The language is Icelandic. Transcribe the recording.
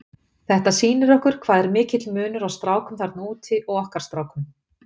Þetta sýnir okkur hvað er mikill munur á strákum þarna úti og okkar strákum.